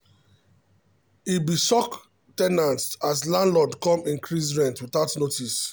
e be shock ten ants as landlord come increase rent without notice.